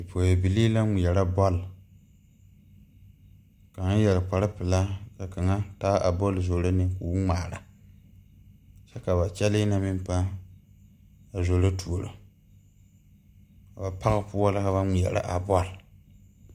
Bipɔgeyabilii la ŋmeɛrɛ bɔl kaŋa yɛre kparepelaa ka kaŋa taa a bɔl zoro ne ko o ŋmaara kyɛ ka ba kyɛlɛɛ na meŋ paa a zoro tuoro a ba page poɔ la ka ba ŋmeɛre a bɔl.